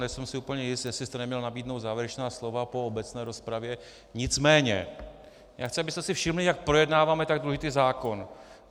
Nejsem si úplně jist, jestli jste neměl nabídnout závěrečná slova po obecné rozpravě, nicméně já chci, abyste si všimli, jak projednáváme tak důležitý zákon.